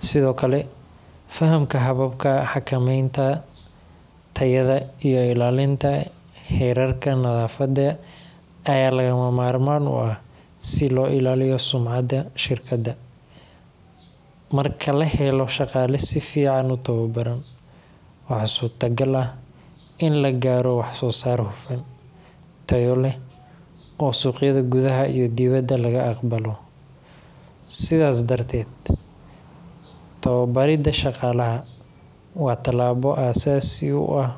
Sidoo kale, fahamka hababka xakamaynta tayada iyo ilaalinta heerarka nadaafadda ayaa lagama maarmaan u ah si loo ilaaliyo sumcadda shirkadda. Marka la helo shaqaale si fiican u tababaran, waxaa suurtagal ah in la gaaro wax soo saar hufan, tayo leh, oo suuqyada gudaha iyo dibadda laga aqbalo. Sidaas darteed, tababaridda shaqaalaha waa tallaabo aas-aasi u ah.